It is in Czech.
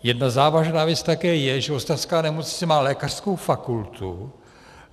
Jedna závažná věc také je, že ostravská nemocnice má lékařskou fakultu.